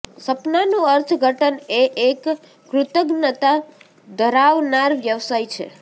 સપનાનું અર્થઘટન એ એક કૃતજ્ઞતા ધરાવનાર વ્યવસાય છે